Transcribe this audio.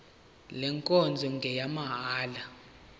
le nkonzo ngeyamahala